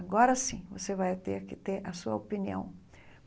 Agora sim, você vai ter que ter a sua opinião.